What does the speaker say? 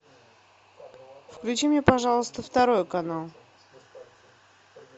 включи мне пожалуйста второй канал